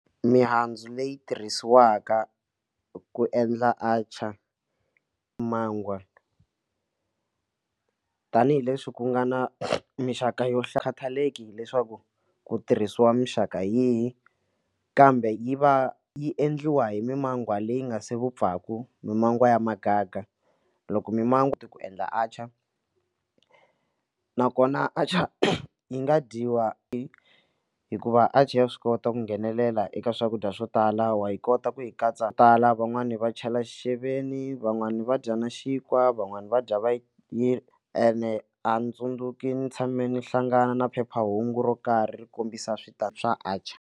Mihandzu leyi tirhisiwaka ku endla atchaar, mangwa tanihileswi ku nga na mixaka yo hlaya khathaleki hileswaku ku tirhisiwa mixaka hi yihi kambe yi va yi endliwa hi mimangwa leyi nga se vupfaku mimangwa ya muganga loko mimango ti ku endla atchaar nakona atchar yi nga dyiwa i hikuva atchar ya swi kota ku nghenelela eka swakudya swo tala wa yi kota ku yi katsa tala van'wani va chela xixeveni van'wani va dya na xinkwa van'wani va dya va yi hi ene a ndzi tsundzuki ni tshame ni hlangana na phephahungu ro karhi ri kombisa swo tala swa atchar.